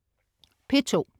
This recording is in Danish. P2: